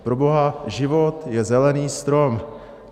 Proboha, život je zelený strom.